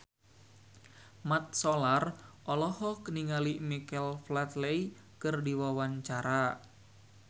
Mat Solar olohok ningali Michael Flatley keur diwawancara